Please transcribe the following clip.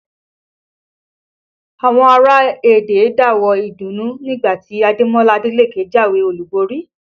Àwọn ará Ẹdẹ ń dáwọ̀ọ́ ìdùnnú nígbà tí Ademola Adeleke jáwé olúborí